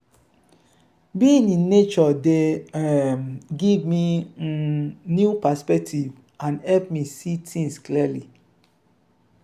being in nature dey um give me um new perspective and help me see things clearly.